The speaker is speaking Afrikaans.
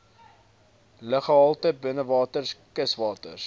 luggehalte binnewaters kuswaters